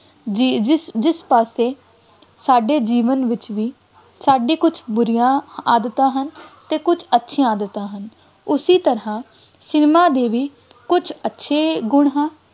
ਜਿ~ ਜਿਸ ਜਿਸ ਪਾਸੇ ਸਾਡੇ ਜੀਵਨ ਵਿੱਚ ਵੀ ਸਾਡੀਆਂ ਕੁੱਝ ਬੁਰੀਆਂ ਆਦਤਾਂ ਹਨ ਅਤੇ ਕੁੱਝ ਅੱਛੀਆਂ ਆਦਤਾਂ ਹਨ, ਉਸੀ ਤਰ੍ਹਾਂ ਸਿਨੇਮਾ ਦੇ ਵੀ ਕੁੱਝ ਅੱਛੇ ਗੁਣ ਹਨ।